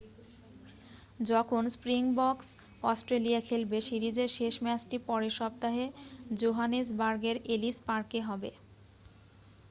যখন Springboks Australia খেলবে সিরিজের শেষ ম্যাচটি পরের সপ্তাহে জোহানেসবার্গের এলিস পার্কে হবে